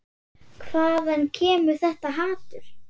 Hvaðan kemur þetta hatur?